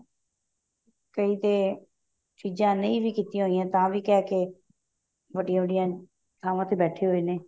ਕਈ ਤੇ ਚੀਜ਼ਾਂ ਨਹੀਂ ਵੀ ਕੀਤੀਆਂ ਹੋਈਆਂ ਤਾਂ ਵੀ ਕਿਹ ਕੇ ਵੱਡੀਆਂ ਵੱਡੀਆਂ ਥਾਵਾਂ ਤੇ ਬੈਠੇ ਹੋਏ ਨੇ